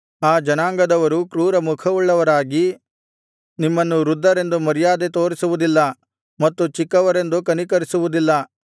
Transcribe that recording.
ಆ ಜನಾಂಗದವರು ಕ್ರೂರಮುಖವುಳ್ಳವರಾಗಿ ನಿಮ್ಮನ್ನು ವೃದ್ಧರೆಂದು ಮರ್ಯಾದೆ ತೋರಿಸುವುದಿಲ್ಲ ಮತ್ತು ಚಿಕ್ಕವರೆಂದು ಕನಿಕರಿಸುವುದಿಲ್ಲ